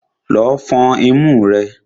Lọ fọn imú rẹ!